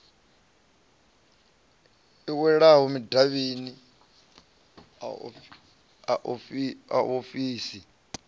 i wanalaho madavhini a ofisii